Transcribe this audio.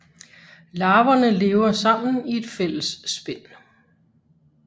Larverne lever sammen i et fælles spind